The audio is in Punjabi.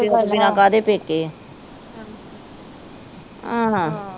ਪਿਓ ਤੋਂ ਬਿਨਾ ਕਾਹਦੇ ਪੇਕੇ ਆਹ